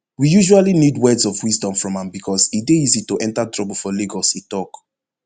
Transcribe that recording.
we usually need words of wisdom from am becos e dey easy to enter trouble for lagos e tok